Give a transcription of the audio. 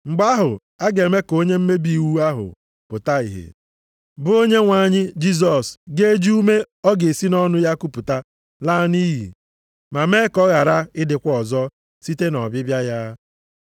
Mgbe ahụ, a ga-eme ka onye mmebi iwu ahụ pụta ìhè, bụ onye Onyenwe anyị Jisọs ga-eji ume ọ ga-esi nʼọnụ ya kupụta laa nʼiyi, ma mee ka ọ ghara ịdịkwa ọzọ site nʼọbịbịa ya.